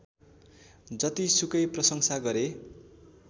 जति सुकै प्रशंसा गरे